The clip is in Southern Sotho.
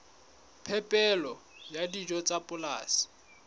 phepelo ya dijo tsa polasing